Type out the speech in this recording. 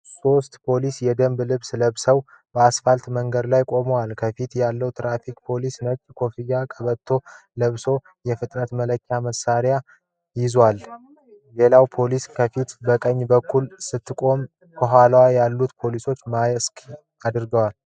ሶስት ፖሊሶች የደንብ ልብስ ለብሰው በአስፋልት መንገድ ላይ ቆመዋል። ከፊቱ ያለው የትራፊክ ፖሊስ ነጭ ኮፍያና ቀበቶ ለብሶ የፍጥነት መለኪያ መሣሪያ ይዟል። ሌላዋ ፖሊስ ከፊት በቀኘ በኩል ስትቆም፣ ከኋላ ያሉት ፖሊሶች ማስክ አድርገዋል።